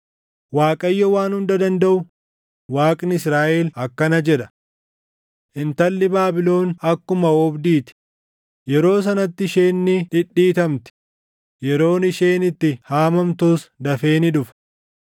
Waaqayyo Waan Hunda Dandaʼu, Waaqni Israaʼel akkana jedha: “Intalli Baabilon akkuma oobdii ti; yeroo sanatti isheen ni dhidhiitamti; yeroon isheen itti haamamtus dafee ni dhufa.”